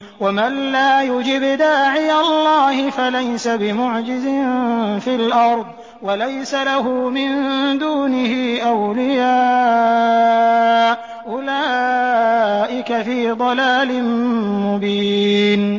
وَمَن لَّا يُجِبْ دَاعِيَ اللَّهِ فَلَيْسَ بِمُعْجِزٍ فِي الْأَرْضِ وَلَيْسَ لَهُ مِن دُونِهِ أَوْلِيَاءُ ۚ أُولَٰئِكَ فِي ضَلَالٍ مُّبِينٍ